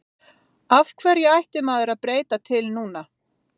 Af hverju ætti maður að breyta til núna?